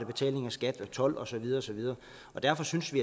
betaling af skat told og så videre og så videre derfor synes vi